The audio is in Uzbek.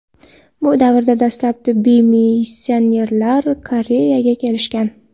Bu davrda dastlab tibbiy missionerlar Koreyaga kelishgan.